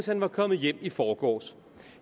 han var kommet hjem i forgårs